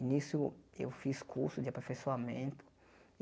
e nisso eu fiz curso de aperfeiçoamento.